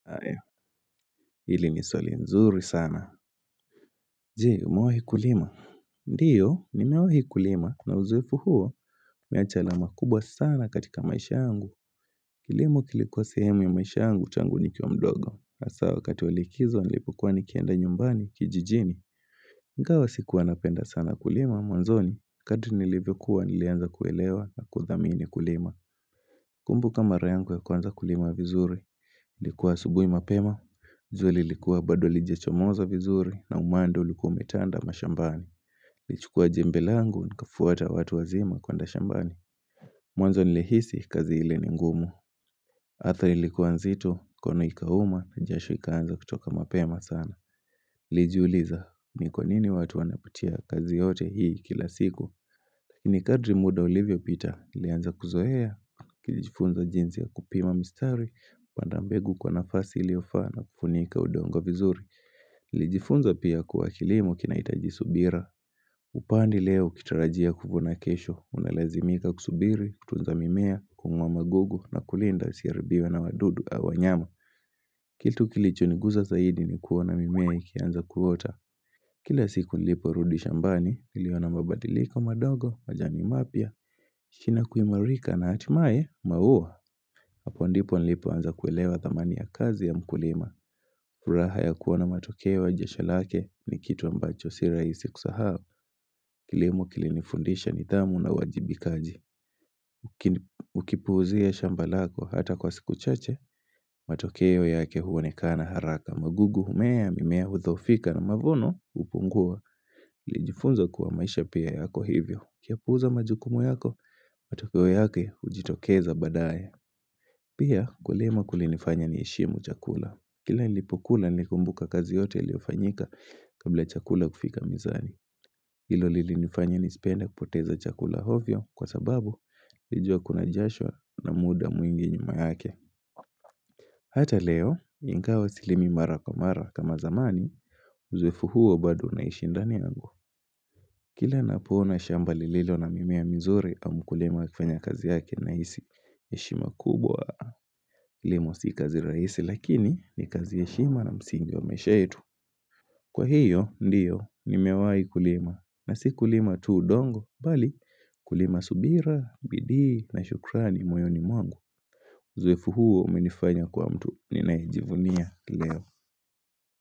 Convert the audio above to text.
Aeo, hili ni swali mzuri sana. Jee, umewahi kulima. Ndiyo, nimewahi kulima na uzuofu huo umeacha alama kubwa sana katika maisha yangu. Kilimo kilikuwa sehemu ya maisha yangu tangu nikiwa mdogo. Hasa wakati wa likizo nilipokuwa nikienda nyumbani kijijini. Ingawa sikuwa napenda sana kulima mwanzoni. Kadri nilivyokuwa nilianza kuelewa na kuthamini kulima. Nakumbuka mara yangu ya kwanza kulima vizuri. Ilikuwa asubuhi mapema. Juu lilikuwa bado lijechomoza vizuri na umande ulikuwa umetanda mashambani. Lichukua jembe langu nikafuata watu wazima kuenda shambani. Mwanzo nilihisi kazi ili ni ngumu. Ardhi ilikuwa nzito mkono ikauma na jasho ikaanza kutoka mapema sana. Lijiuliza, ni kwa nini watu wanapitia kazi yote hii kila siku. Ni kadri muda ulivyopita, nilianza kuzoea. Kijifunza jinzi ya kupima mistari. Panda mbegu kwa nafasi iliyofaa na kufunika udongo vizuri. Lijifunza pia kuwa kilimo kinahitaji subira. Upandi leo ukitarajia kuvuna kesho. Unalazimika kusubiri, tunza mimea, kungoa magugu na kulinda isiharibiwe na wadudu au wanyama. Kitu kilichoniguza zaidi, ni kuona mimea ikianza kuota. Kila siku niliporudi shambani, niliona mabadilika madogo, majani mapya. Shina kuimarika na hatimaye, maua, hapo ndipo nilipoanza kuelewa thamani ya kazi ya mkulima. Furaha ya kuona matokeo ya jasho lake ni kitu ambacho si rahisi kusahau. Kilimu kilinifundisha nidhamu na uwajibikaji. Ukipuuzia shamba lako hata kwa siku chache, matokeo yake huonekana haraka. Magugu humea, mimea hudhoofika na mavuno hupungua. Lijifunza kuwa maisha pia yako hivyo. Ukiyapuuza majukumu yako, matokeo yake hujitokeza baadaye. Pia, kulima kulinifanya niheshimu chakula. Kila nilipokula, nilikumbuka kazi yote iliyofanyika kabla chakula kufika mezani. Ilo lilinifanya nisipende kupoteza chakula ovyo kwa sababu, nilijua kuna jasho na muda mwingi nyuma yake. Hata leo, ingawa silimi mara kwa mara kama zamani, uzoefu huo bado unaishi ndani yangu. Kila napoona shamba lililo na mimea mizuri au mkulima akifanya kazi yake nahisi heshima kubwa, kilimo si kazi rahisi lakini ni kazi ye heshima na msingi wa maisha yetu. Kwa hiyo, ndiyo, nimewahi kulima na si kulima tu udongo, bali kulima subira, bidii na shukrani moyoni mwangu. Uzoefu huo umenifanya kwa mtu, ninayejivunia leo.